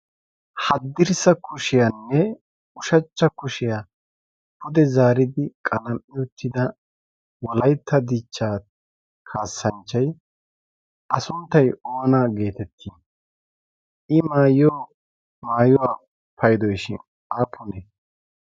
haddirssa kushiyaanne ushachcha kushiyaa pude zaaridi qalam77i uttida wolaitta dichchaa kaassanchchai a sunttai oona geetettii? i maayyiyo maayuwaa paidoishin aappunee?